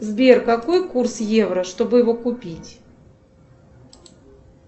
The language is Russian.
сбер какой курс евро чтобы его купить